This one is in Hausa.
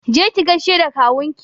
Je ki gaishe da kawunki!